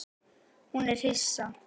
Hún er hissa.